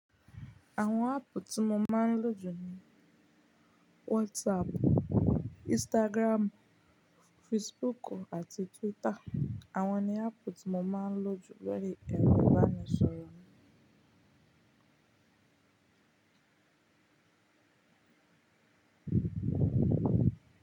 Àwọn áàpù tí mo máa ń lò jù ni WhatsApp, Instagram, Facebook àti Twitter. Àwọn ni áàpù tí mo máa ń lò jù bẹ́rẹ́ ẹni bá ni sọ̀rọ̀ mọ́